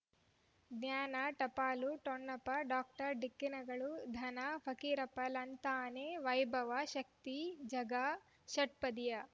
ಜ್ಞಾನ ಟಪಾಲು ಠೊಣಪ ಡಾಕ್ಟರ್ ಢಿಕ್ಕಿ ಣಗಳನು ಧನ ಫಕೀರಪ್ಪ ಳಂತಾನೆ ವೈಭವ್ ಶಕ್ತಿ ಝಗಾ ಷಟ್ಪದಿಯ